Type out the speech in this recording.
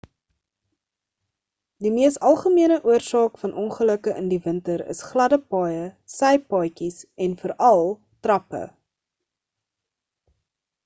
die mees algemene oorsaak van ongelukke in die winter is gladde paaie sypaadjies en veral trappe